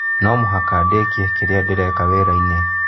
No mũhaka ndĩkie kĩrĩa ndĩreka wĩra-inĩ